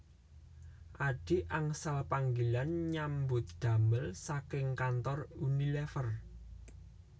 Adhi angsal panggilan nyambut damel saking kantor Unilever